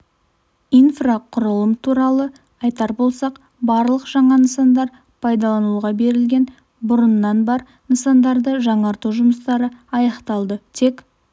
инфрақұрылым туралы айтар болсақ барлық жаңа нысандар пайдалануға берілген бұрыннан бар нысандарды жаңарту жұмыстары аяқталды тек